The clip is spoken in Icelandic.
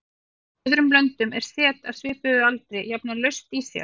Í öðrum löndum er set af svipuðum aldri jafnan laust í sér.